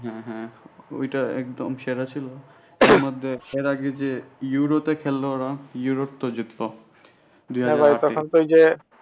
হ্যাঁ হ্যাঁ ওইটা একদম সেরা ছিল এর আগে যে ইউরোতে খেললে ওরা ইউরোপ তো জিতল